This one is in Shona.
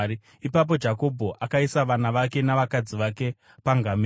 Ipapo Jakobho akaisa vana vake navakadzi vake pangamera,